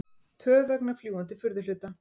Töf vegna fljúgandi furðuhluta